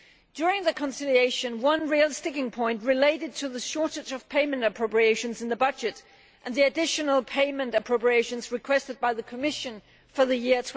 During the conciliation, one real sticking point related to the shortage of payment appropriations in the budget and the additional payment appropriations requested by the Commission for the year